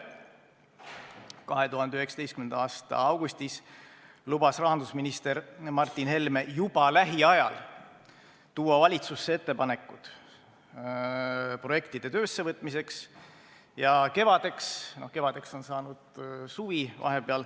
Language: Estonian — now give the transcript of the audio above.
2019. aasta augustis lubas rahandusminister Martin Helme juba lähiajal tuua valitsusse ettepanekud projektide töösse võtmiseks.